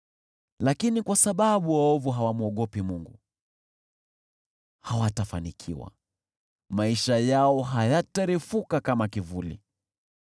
Lakini kwa sababu waovu hawamwogopi Mungu, hawatafanikiwa, maisha yao hayatarefuka kama kivuli.